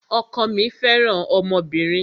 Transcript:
Ọkọ mí fẹràn ọmọbìnrin.